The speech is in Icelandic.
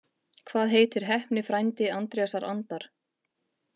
Hvað heitir heppni frændi Andrésar Andar?